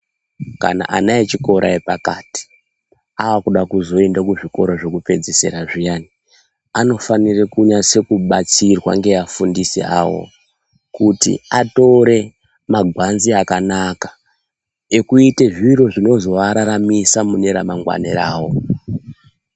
Kana ana echikora epakati aakuda kuzoenda kuzvikora zvekupedzisira zviyani, anofanire kunyasekubatsirwa ngeafundisi avo. Kuti atore magwanzi akanaka ekuite zviro zvinozoararamisa mune ramangwani rawo.